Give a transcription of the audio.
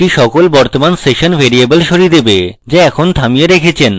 সেটি সকল বর্তমান session ভ্যারিয়েবল সরিয়ে দেবে যা আপনি এখন থামিয়ে রেখেছেন